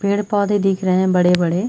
पेड़-पौधे दिख रहें है बड़े-बड़े।